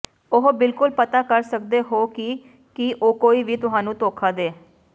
ਉਹ ਬਿਲਕੁਲ ਪਤਾ ਕਰ ਸਕਦੇ ਹੋ ਕਿ ਕੀ ਕੋਈ ਵੀ ਤੁਹਾਨੂੰ ਧੋਖਾ ਦੇ